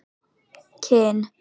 Kinn